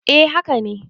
eh haka ne